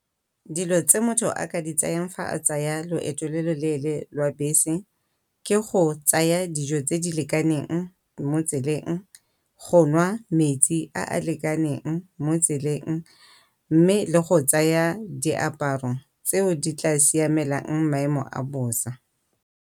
Dilo tse motho a ka di tsayang fa a tsaya loeto lo lo leele lwa bese ke go tsaya dijo tse di lekaneng mo tseleng go nwa metsi a a lekaneng mo tseleng mme le go tsaya diaparo tseo di tla siamelang maemo a bosa.